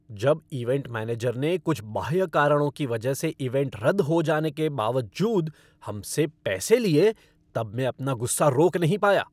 जब event manager ने कुछ बाह्य कारणों की वजह से इवेंट रद्द हो जाने के बावजूद हम से पैसे लिए तब मैं अपना गुस्सा रोक नहीं पाया।